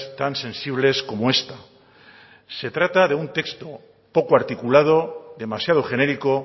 tan sensibles como esta se trata de un texto poco articulado demasiado genérico